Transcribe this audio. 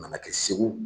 A nana kɛ segu